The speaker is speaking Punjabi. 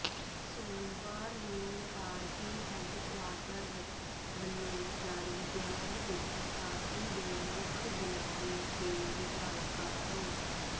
ਸੋਮਵਾਰ ਨੂੰ ਪਾਰਟੀ ਹੈੱਡਕੁਆਰਟਰਜ਼ ਵੱਲੋਂ ਜਾਰੀ ਬਿਆਨ ਵਿੱਚ ਪਾਰਟੀ ਦੇ ਮੁੱਖ ਬੁਲਾਰੇ ਤੇ ਵਿਧਾਇਕਾ ਪ੍ਰੋ